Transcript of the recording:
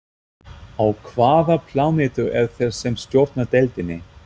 Á hvaða plánetu eru þeir sem stjórna deildinni?